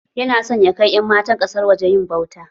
Yana san ya kai ƴan matan kasan waje yin ɓauta.